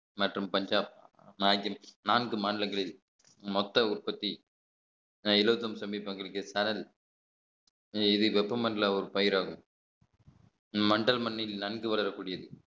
மற்றும் பஞ்சாப் நாகில் நான்கு மாநிலங்களில் மொத்த உற்பத்தி இலவசம் சமீட்பங்களுக்கு சரன் இது வெப்பமண்டல ஒரு பயிராகும் வண்டல் மண்ணில் நன்கு வளரக்கூடியது